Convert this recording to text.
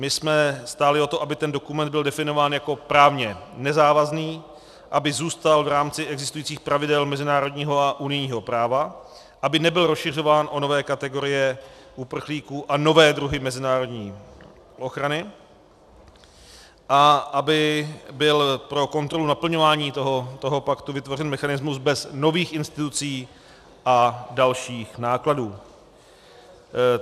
My jsme stáli o to, aby ten dokument byl definován jako právně nezávazný, aby zůstal v rámci existujících pravidel mezinárodního a unijního práva, aby nebyl rozšiřován o nové kategorie uprchlíků a nové druhy mezinárodní ochrany a aby byl pro kontrolu naplňování toho paktu vytvořen mechanismus bez nových institucí a dalších nákladů.